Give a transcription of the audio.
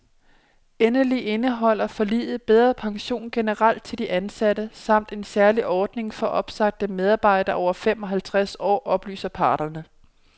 Endelig indeholder forliget bedre pension generelt til de ansatte samt en særlig ordning for opsagte medarbejdere over fem og halvtreds år, oplyser parterne.